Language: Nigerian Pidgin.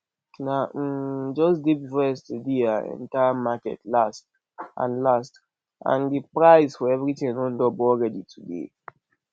na um just day before yesterday i enter market last and last and the price for everything don double already today